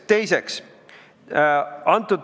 Teiseks.